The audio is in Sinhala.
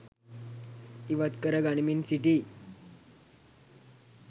ඉවත් කර ගනිමින් සිටී.